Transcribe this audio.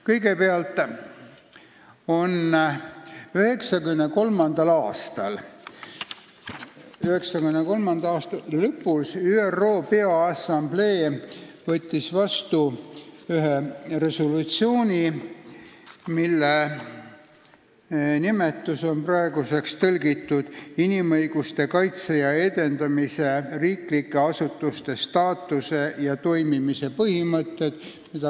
Kõigepealt, 1993. aasta lõpus võttis ÜRO Peaassamblee vastu ühe resolutsiooni, mille nimetus on praegu tõlgitud kui "Inimõiguste kaitse ja edendamise riiklike asutuste staatuse ja toimimise põhimõtted".